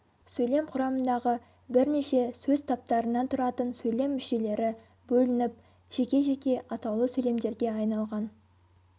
сөйлем құрамындағы бірнеше сөз таптарынан тұратын сөйлем мүшелері бөлініп жеке-жеке атаулы сөйлемдерге айналған